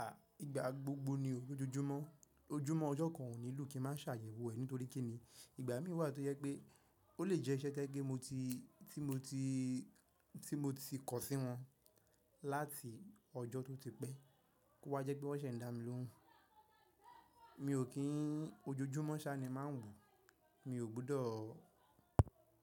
À, ìgbà gbogbo ni o. Ojojúmọ́, ojúmọ́ ọjọ́ kan ò nílò kí n máa ṣàyẹ̀wò ẹ̀ nítorí kí ni ìgbà mí wà tó jẹ́ pé ó lè jẹ́ iṣẹ́ tó jẹ́ pé mo ti, tí mo ti, tí mo ti kọ sí wọn láti ọjọ́ tó ti pẹ́. Kó wá jẹ́ pé wọ́n ṣẹ̀ ń dá mi lóhùn. Mi ò kí n ojojúmọ́ ṣá ni màá wò. Mi ò gbọ́dọ̀